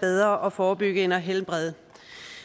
bedre at forebygge end at helbrede